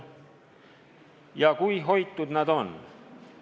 Ja kui hoitud need on.